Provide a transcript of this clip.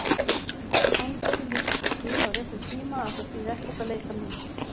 Komdu því líka til skila á réttum tíma að það þýði ekkert að leita mín.